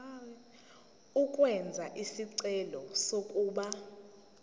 ukwenza isicelo sokuba